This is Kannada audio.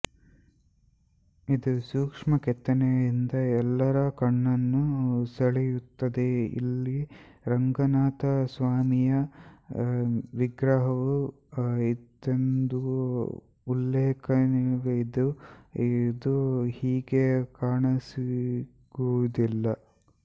ಇದು ಸೂಕ್ಷ್ಮ ಕೆತ್ತನೆಯಿಂದ ಎಲ್ಲಾರ ಕಣ್ಣನ್ನು ಸೆಳೆಯುತ್ತದೆ ಇಲ್ಲಿ ರಂಗನಾಥ ಸ್ವಾಮಿಯ ವಿಗ್ರವು ಇತ್ತೆಂಬ ಉಲ್ಲೇಖವಿದ್ದು ಅದು ಈಗ ಕಾಣಸಿಗುದಿಲ್ಲ